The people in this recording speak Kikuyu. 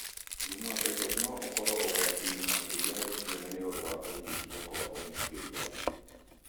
Mũrimũ wa typhoid no ũkorũo ũgwati-inĩ makĩria harĩ ciana nĩ ũndũ wa kũnyiha kwa ũgitĩri wao.